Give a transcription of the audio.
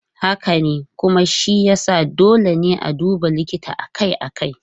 Haka ne, kuma shi ya sa dole ne a duba likita akai-akai.